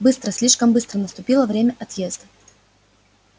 быстро слишком быстро наступило время отъезда